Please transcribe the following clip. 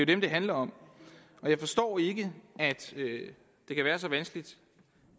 dem det handler om og jeg forstår ikke at det kan være så vanskeligt